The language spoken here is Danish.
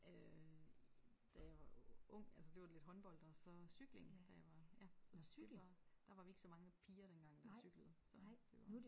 Øh da jeg var ung altså det var lidt håndbold og så cykling da jeg var ja. Det var der var vi ikke så mange piger dengang der cyklede så det var